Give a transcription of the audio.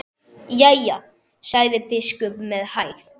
Jæja, sagði biskup með hægð.